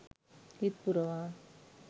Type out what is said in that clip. හිත් පුරවා